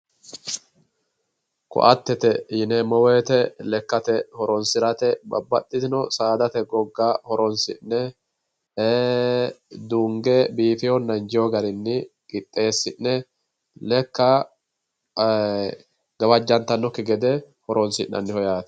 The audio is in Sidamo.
Koattete yineemmo woyte lekkate horonsirate babbaxxitino saadate gogga horonsi'ne duunge biifitenna injino garinna qixxesi'ne lekka gawajattanokki gede horonsi'nannite yaate.